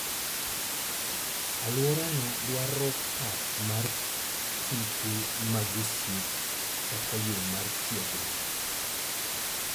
Alworano dwaro pap mar tuke mag osiep kaka yo mar tiegruok.